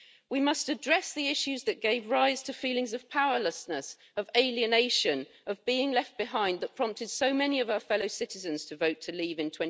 We must address the issues that gave rise to feelings of powerlessness, of alienation, of being left behind, that prompted so many of our fellow citizens to vote to leave in